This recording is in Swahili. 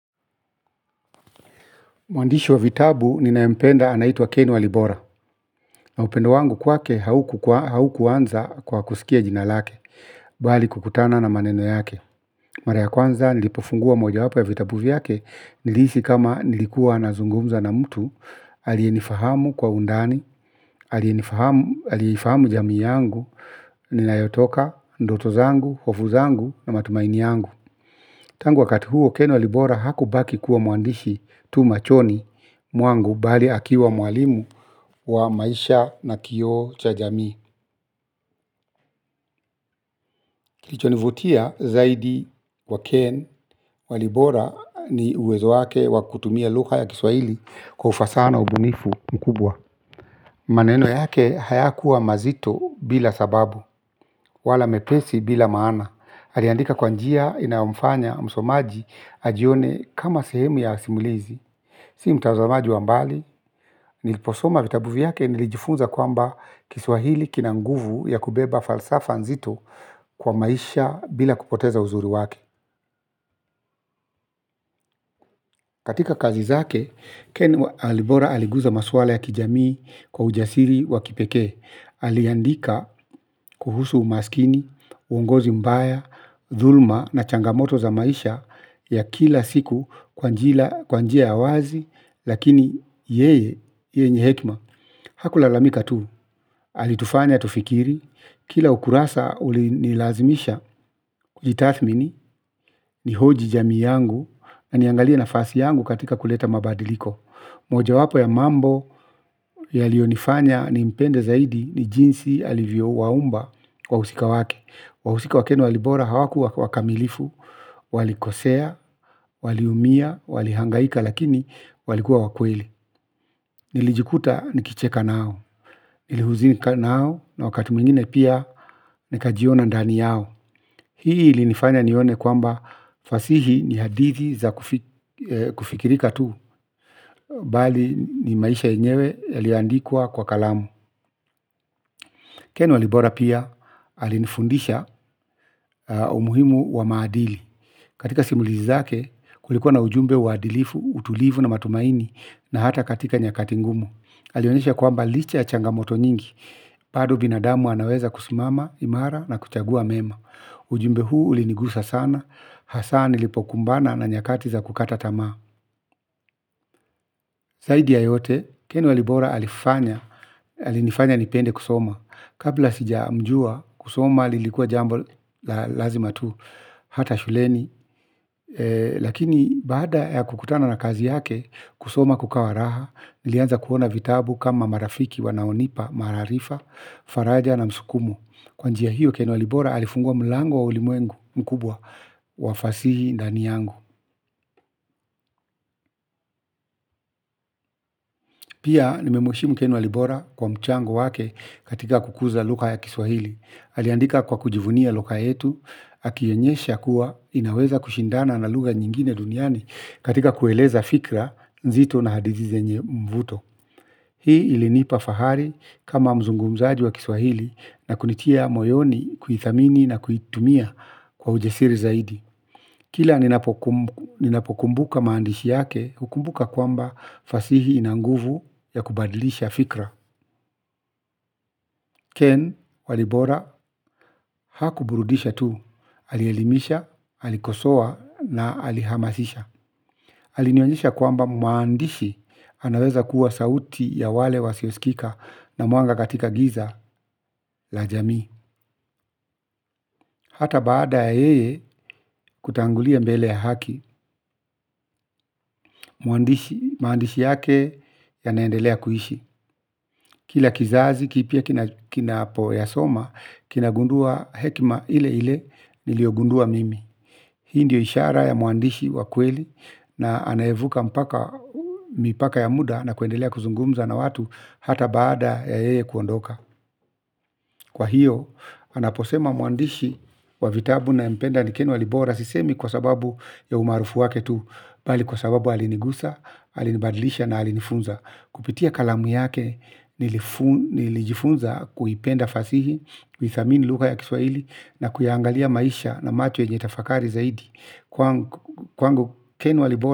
Mwandishi wa vitabu ninayempenda anaitwa Kenwa. Libora. Na upendo wangu kwake haukuanza kwa kusikia jinalake, bali kukutana na maneno yake. Mara ya kwanza nilipofungua mojawapo ya vitabu yake nilihisi kama nazungumza na mtu alienifahamu kwa undani alifahamu jamii yangu nayotoka ndoto zangu, hofu zangu na matumaini yangu. Tangu wakati huo Ken walibora haku baki kuwa mwandishi tu machoni mwangu bali akiwa mwalimu wa maisha na kioo cha jamii. Kilichonivutia zaidi wa Ken walibora ni uwezo wake wakutumia lugha ya kiswaili kwa ufasaha na ubunifu mkubwa. Maneno yake haya kuwa mazito bila sababu, wala mepesi bila maana. Haliandika kwanjia inaomfanya msomaji ajione kama sehemu ya simulizi. Si mtazamaji wa mbali, niliposoma vitabuvi yake nilijifunza kwamba kiswahili kinanguvu ya kubeba falsafanzito kwa maisha bila kupoteza uzuri wake. Katika kazi zake, Ken Alibora aliguza maswala ya kijamii kwa ujasiri wa kipeke. Aliandika kuhusu umaskini, uongozi mbaya, dhulma na changamoto za maisha ya kila siku kwanjia ya wazi, lakini yeye, yeye njehekma. Hakula lamika tu, alitufanya tufikiri, kila ukurasa ulinilazimisha kujitathmini, ni hoji jami yangu, aniangalia na fasi yangu katika kuleta mabadiliko. Moja wapo ya mambo ya liyo nifanya ni impende zaidi ni jinsi alivyo waumba kwa usika wake. Wausika wakenu walibora hawakuwa wakamilifu, walikosea, waliumia, walihangaika lakini walikuwa wakweli. Nilijikuta nikicheka nao nilihuzika nao na wakati mwingine pia. Nika jiona ndani yao. Hii ili nifanya nione kwamba fasihi ni hadithi za kufikirika tu. Bali ni maisha enyewe. Yaliandikwa kwa kalamu Kenu alibora pia. Alifundisha umuhimu wa maadili. Katika simulizi zake kulikuwa na ujumbe waadilifu, utulivu na matumaini na hata katika nyakatingumu. Alionyesha kwamba licha ya changamoto nyingi bado binadamu anaweza kusimama, imara na kuchagua mema. Ujumbe huu ulinigusa sana, hasa nilipo kumbana na nyakati za kukata tamaa. Zaidi ya yote, keni walibora alifanya, alinifanya nipende kusoma. Kabla sija mjua, kusoma lilikua jambo lazima tu, hata shuleni. Lakini, baada ya kukutana na kazi yake, kusoma kukawa raha, nilianza kuona vitabu kama marafiki wanaonipa, maarifa, faraja na msukumu. Kwanjia hiyo Kenwa Libora alifungua mlango wa ulimwengu mkubwa wafasihi ndani yangu. Pia nimemwishimu Kenwa Libora kwa mchango wake katika kukuza lugha ya kiswahili. Aliandika kwa kujivunia lugha yetu, hakionyesha kuwa inaweza kushindana na lugha nyingine duniani katika kueleza fikra nzito na hadithi zenye mvuto. Hii ilinipa fahari kama mzungumzaji wa kiswahili na kunitia moyoni kuhithamini na kuhitumia kwa ujasiri zaidi. Kila ninapokumbuka maandishi yake hukumbuka kwamba fasihi inanguvu ya kubadilisha fikra. Ken walibora haku burudisha tu. Alielimisha, alikosowa na alihamasisha. Alionyenjisha kwamba mwandishi anaweza kuwa sauti ya wale wasiosikika na mwanga katika giza la jamii. Hata baada ya yeye kutangulia mbele ya haki, maandishi yake ya naendelea kuishi. Kila kizazi, kipya kinapo ya soma, kinagundua hekima ile ile nilio gundua mimi. Hii ndio ishara ya mwandishi wa kweli na anaevuka mipaka ya muda nakuendelea kuzungumza na watu hata baada ya yeye kuondoka. Kwa hiyo, anaposema muandishi wa vitabu na mpenda ni Kenwa Libora. Sisemi kwa sababu ya umarufu waketu bali kwa sababu alinigusa, alinibadlisha na alinifunza. Kupitia kalamu yake nilijifunza kuipenda fasihi kuithamini lugha ya kiswaili na kuyangalia maisha na macho yenyetafakari zaidi. Kwangu Kenwa Libora.